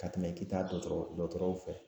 Ka tɛmɛ k'i taa dɔgɔtɔrɔw fɛ